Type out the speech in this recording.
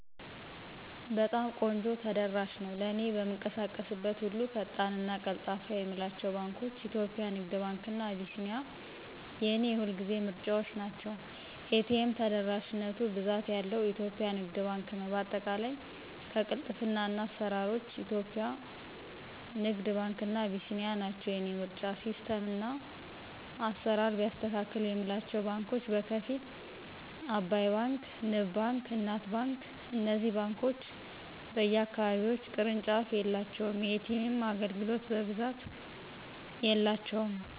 በጣም ቆንጆ ተደራሽ ነው። ለእኔ በምንቀሳቀስበት ሁሉ ፈጣን እና ቀልጣፋ የምላቸው ባንኳች :- ኢትዮጵያ ንግድ ባንክ እና አቢሲኒያ የኔ የሁልጊዜ ምርጫዎቸ ናቸው። ኤ.ቴ.ም ተደራሽነቱ ብዛት ያለው ኢትዮጵያ ንግድ ባንክ ነው በአጠቃላይ ከቅልጥፍና እስከ አስራሮች ኢትዮጵያ ንግድ ባንክ እና አቢሲኒያ ናቸው የኔ ምርጫ። ሲስተም እና አስራር ቢያስተካክል የምላቸው ባንኮች በከፊል። አባይ ባንክ; ንብ ባንክ: እናት ባንክ እነዚህ ባንኮች በየ አካባቢዎች ቅርንጫፍ የላቸውም። የኤ.ቴም አገልግሎት በብዛት የላቸውም